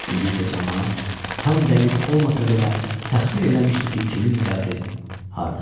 İndi isə camaat tam dəqiq olmasa belə təxmin eləmişdi ki, kimin qəbri hardadır.